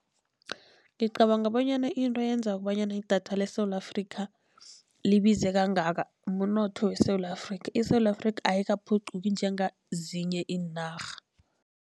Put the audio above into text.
Ngicabanga bonyana into eyenza kobanyana idatha leSewula Afrika, libize kangaka mnotho weSewula Afrika, iSewula Afrika, ayikaphuquki njengezinye iinarha.